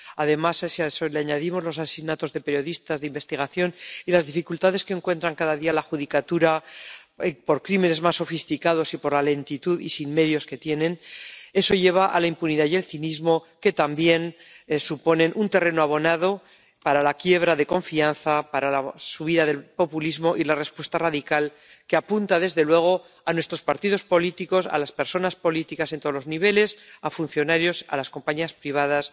Además, si a eso le añadimos los asesinatos de periodistas de investigación y las dificultades que encuentra cada día la judicatura por unos crímenes más sofisticados y por la lentitud y la falta de medios que tienen, eso lleva a la impunidad y el cinismo, que también suponen un terreno abonado para la quiebra de confianza, para la subida del populismo y la respuesta radical, que apunta desde luego a nuestros partidos políticos, a las personas políticas en todos los niveles, a funcionarios, a las compañías privadas